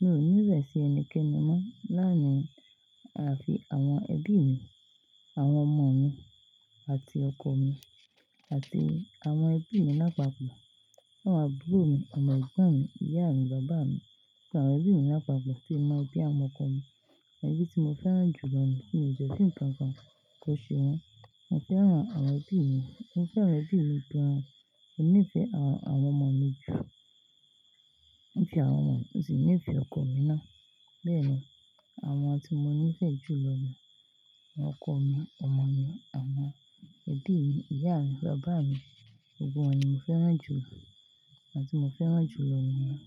Mi ò ní ìrẹ̀sì ẹnikẹ́ni mọ́ lárin àfi àwọn ẹbí mi, àwọn ọmọ mi àti ọkọ mi àti àwọn ẹbí mi lápapọ̀. Àwọn àbúrò mi, àwọn ẹ̀gbọ́n mi, ìyá mi, bàbá mi pẹ̀lú àwọn ẹbí mi lápapọ̀ tè mo ẹbí àwọn ọkọ mi. Ẹbí tí mo fẹ́ràn jù lọ ni tí n fẹ́ kí n kànkán kọ́ṣẹ́ wọn. Mo fẹ́ràn àwọn ẹbí mi. Mo fẹ́ràn ẹbí mi gan. Mo nífẹ̀ẹ́ àwọn ọmọ mi jù, bí i àwọn ọmọ mi, mo sì nífẹ̀ẹ́ ọkọ mi náà. Bẹ́ẹ̀ni, àwọn tí mo nífẹ̀ẹ́ jù lọ ni ọkọ mi, ọmọ mi, àwọn ẹbí mi, ìyá mi, bàbá mi. Gbogbo wọ́n ni mo fẹ́ràn jù àwọn tí mo fẹ́ràn jù lọ ni yẹn.